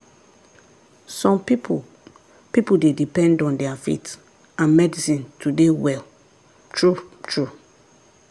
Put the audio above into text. some people people dey depend on their faith and medicine to dey well true-true.